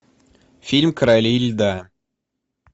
фильм короли льда